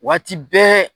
Waati bɛɛ